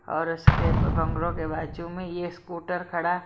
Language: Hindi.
और उसके बंगड़ों के बाजू में यह स्कूटर खड़ा---